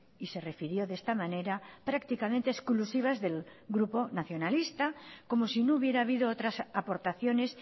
y se refirió de esta manera prácticamente exclusivas del grupo nacionalista como si no hubiera habido otras aportaciones